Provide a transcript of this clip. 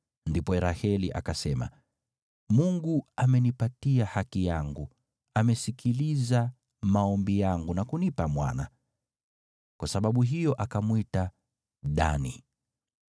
Ndipo Raheli akasema, “Mungu amenipa haki yangu, amesikiliza maombi yangu na kunipa mwana.” Kwa sababu hiyo akamwita Dani.